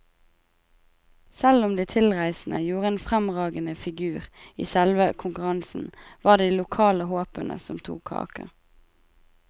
Selv om de tilreisende gjorde en fremragende figur i selve konkurransen, var det de lokale håpene som tok kaka.